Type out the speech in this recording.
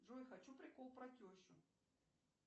джой хочу прикол про тещу